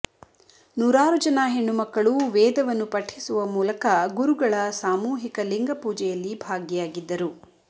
ನೂರಾರು ಜನ ಹೆಣ್ಣು ಮಕ್ಕಳು ವೇಧವನ್ನು ಪಠಿಸುವ ಮೂಲಕ ಗುರುಗಳ ಸಾಮೂಹಿಕ ಲಿಂಗಪೂಜೆಯಲ್ಲಿ ಭಾಗಿಯಾಗಿದ್ದರು